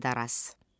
Məmməd Araz.